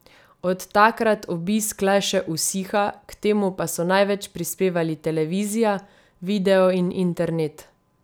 Od takrat obisk le še usiha, k temu pa so največ prispevali televizija, video in internet.